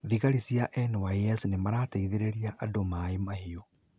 Thigari cia NYS nĩmarateithirie andũ Maaĩ Mahiũ